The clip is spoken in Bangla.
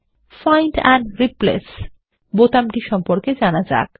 ফাইন্ড এন্ড রিপ্লেস বোতামটি সম্পর্কে জানা যাক